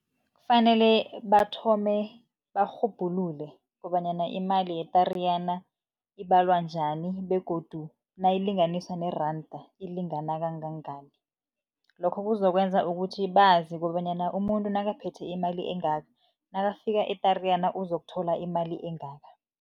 Kufanele bathome barhubhulule kobanyana imali yeTariyana, ibalwa njani begodu nayilinganiswa neranda ilingana kangangani. Lokho kuzokwenza ukuthi bazi kobanyana umuntu nakaphethe imali engaka, nakafika eTariyana, uzokuthola imali engaka.